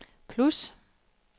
plus